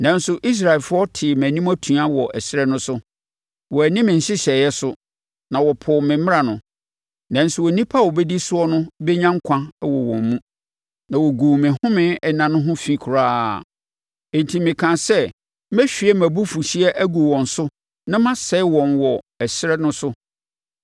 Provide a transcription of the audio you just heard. “ ‘Nanso, Israelfoɔ tee mʼanim atua wɔ ɛserɛ no so. Wɔanni me nhyehyɛeɛ so, na wɔpoo me mmara no, nanso onipa a ɔbɛdi soɔ no bɛnya nkwa wɔ wɔn mu, na wɔguu me home nna ho fi koraa. Enti mekaa sɛ mɛhwie mʼabufuhyeɛ agu wɔn so na masɛe wɔn wɔ ɛserɛ no so.